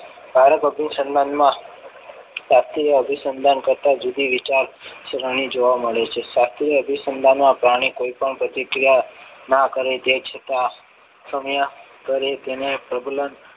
ભારત અભિસંધાનમાં ભારતીય અભિસંધાન કરતા જુદી વિચાર કરવાની જોવા મળે છે પ્રાણી કોઈ પણ પ્રતિક્રિયા ના કરે તે છતાં કરે તેને પ્રબલન